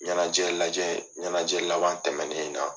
Ɲɛnajɛ lajɛ, ɲɛnajɛ laban tɛmɛnen in na